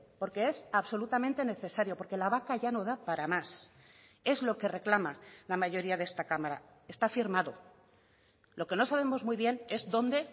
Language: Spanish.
porque es absolutamente necesario porque la vaca ya no da para más es lo que reclama la mayoría de esta cámara está firmado lo que no sabemos muy bien es dónde